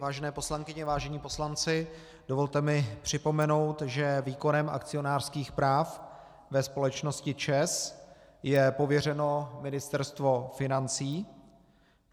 Vážené poslankyně, vážení poslanci, dovolte mi připomenout, že výkonem akcionářských práv ve společnosti ČEZ je pověřeno Ministerstvo financí.